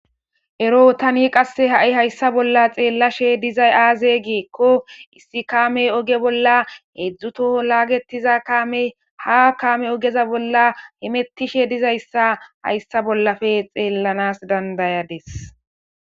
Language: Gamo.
ero tani qasse ha7i hayssa bolla xeellashe dizay aaze geekko issi kaamey oge bolla heedzdzutoho laagetiza kaamey ha kaame ogeza bolla hemettishe dizayssa hayssa bollafe xeellanas dandayades